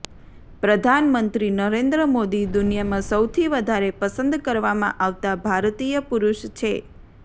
પ્રધાનમંત્રી નરેન્દ્ર મોદી દુનિયામાં સૌથી વધારે પસંદ કરવામાં આવતા ભારતીય પુરુષ છે